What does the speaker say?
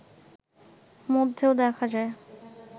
মধ্যেও দেখা যায়